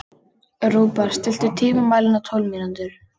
Rúbar, stilltu tímamælinn á tólf mínútur.